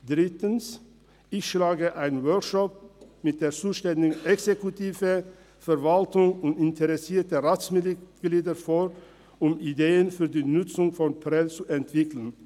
Drittens: Ich schlage einen Workshop mit der zuständigen Exekutive, der Verwaltung und interessierten Ratsmitgliedern vor, um Ideen für die Nutzung von Prêles zu entwickeln.